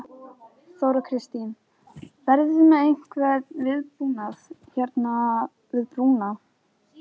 Þóra Kristín: Verðið þið með einhvern viðbúnað hérna við brúna?